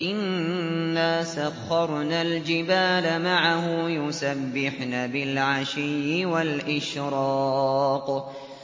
إِنَّا سَخَّرْنَا الْجِبَالَ مَعَهُ يُسَبِّحْنَ بِالْعَشِيِّ وَالْإِشْرَاقِ